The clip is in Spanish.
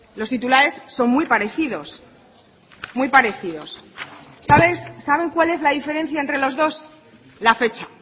los titulares son muy parecidos muy parecidos saben cuál es la diferencia entre los dos la fecha